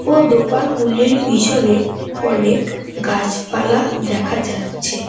ও দোকানগুলির পিছনে অনেক গাছপালা দেখা যাচ্ছে ।